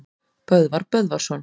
Böðvar Böðvarsson